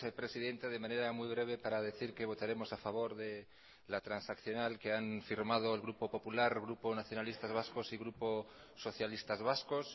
presidenta de manera muy breve para decir que votaremos a favor de la transaccional que han firmado el grupo popular el grupo nacionalistas vascos y grupo socialistas vascos